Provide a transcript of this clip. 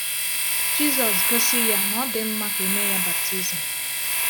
Jizọs gosi ya na ọ dị mma ka e mee ya baptism.